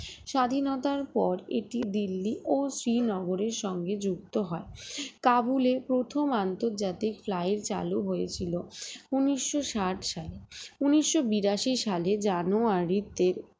স্বাধীনতার পর এটি দিল্লি ও শ্রীনগরের সঙ্গে যুক্ত হয় কাবুলে প্রথম আন্তর্জাতিক flight চালু হয়েছিল উন্নিশশো ষাট সালে উন্নিশশো বিরাশি সালের জানুয়ারিতে